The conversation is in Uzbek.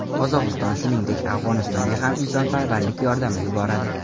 Qozog‘iston, shuningdek, Afg‘onistonga ham insonparvarlik yordami yuboradi.